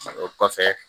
O kɔfɛ